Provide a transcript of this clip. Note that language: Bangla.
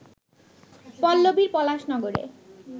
পল্লবীর পলাশ নগরে